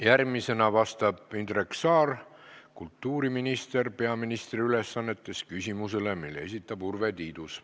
Järgmisena vastab Indrek Saar, kultuuriminister peaministri ülesannetes, küsimusele, mille esitab Urve Tiidus.